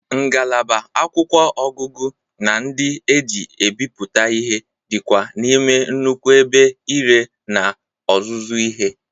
Ngalaba akwụkwọ ọgụgụ na ndị e ji ebiputa ihe dị kwa n'ime nnukwu ebe ire na ọzụzụ ihe.